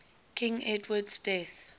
king edward's death